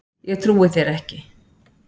Ég trúi þér ekki